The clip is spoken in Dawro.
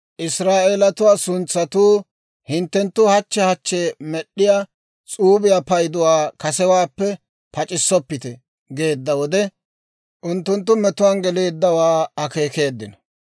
Israa'eelatuwaa suntsatuu, «Hinttenttu hachche hachche med'd'iyaa s'uubiyaa payduwaa kasewaappe pac'issoppite» geedda wode, unttunttu metuwaan geleeddawaa akeekeeddino.